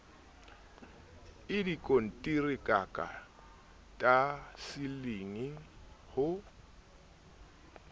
i dikonteraka ta disiling ho